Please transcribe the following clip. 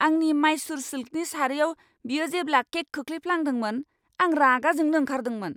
आंनि माइसुर सिल्कनि सारियाव बियो जेब्ला केक खोख्लैफ्लांदोंमोन आं रागा जोंनो ओंखारदोंमोन।